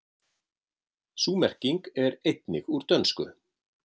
Sú merking er einnig úr dönsku.